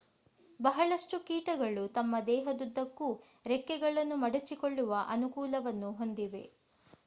ಬಹಳಷ್ಟು ಕೀಟಗಳು ತಮ್ಮ ದೇಹದುದ್ದಕ್ಕೂ ರೆಕ್ಕೆಗಳನ್ನು ಮಡಚಿಕೊಳ್ಳುವ ಅನುಕೂಲವನ್ನು ಹೊಂದಿವೆ